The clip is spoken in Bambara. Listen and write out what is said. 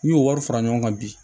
N'u y'o wari fara ɲɔgɔn kan bi